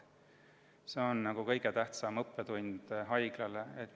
See on haiglale kõige tähtsam õppetund.